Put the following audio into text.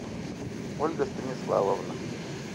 ольга станиславовна